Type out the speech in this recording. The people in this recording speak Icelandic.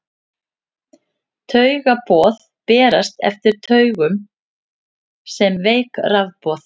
Taugaboð berast eftir taugum sem veik rafboð.